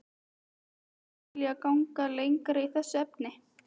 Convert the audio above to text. Mynduð þið kannski vilja ganga lengra í þessum efnum?